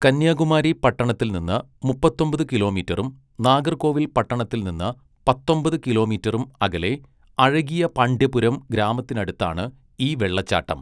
കന്യാകുമാരി പട്ടണത്തിൽ നിന്ന് മുപ്പത്തൊമ്പത് കിലോമീറ്ററും, നാഗർകോവിൽ പട്ടണത്തിൽ നിന്ന് പത്തൊമ്പത് കിലോമീറ്ററും അകലെ, അഴകിയപാണ്ഡ്യപുരം ഗ്രാമത്തിനടുത്താണ് ഈ വെള്ളച്ചാട്ടം.